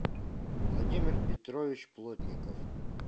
владимир петрович плотников